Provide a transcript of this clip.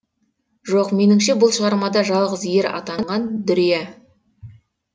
жоқ меніңше бұл шығармада жалғыз ер атанған дүрия